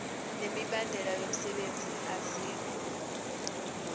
nemibandela yomsebenzi azikho